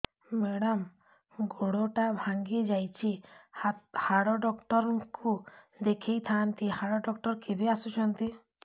madam ଗୋଡ ଟା ଭାଙ୍ଗି ଯାଇଛି ହାଡ ଡକ୍ଟର ଙ୍କୁ ଦେଖାଇ ଥାଆନ୍ତି ହାଡ ଡକ୍ଟର କେବେ ଆସୁଛନ୍ତି